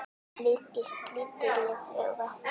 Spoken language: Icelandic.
líkist lítilli flugu.